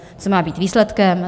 Co má být výsledkem?